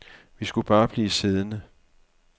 Vi skulle bare blive siddende.